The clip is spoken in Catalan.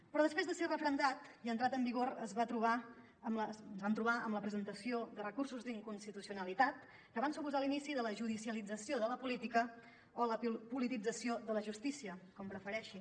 però després de ser referendat i entrat en vigor ens vam trobar amb la presentació de recursos d’inconstitucionalitat que van suposar l’inici de la judicialització de la política o la politització de la justícia com prefereixi